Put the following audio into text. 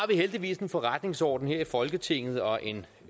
heldigvis en forretningsorden her i folketinget og en